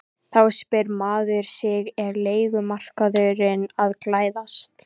Þá spyr maður sig er leigumarkaðurinn að glæðast?